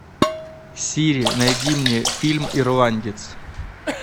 сири найди мне фильм ирландец